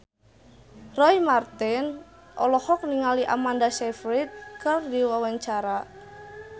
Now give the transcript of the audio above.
Roy Marten olohok ningali Amanda Sayfried keur diwawancara